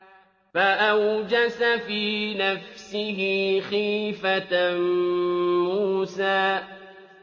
فَأَوْجَسَ فِي نَفْسِهِ خِيفَةً مُّوسَىٰ